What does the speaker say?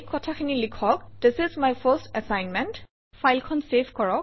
এই কথাখিনি লিখক - this is my first assignment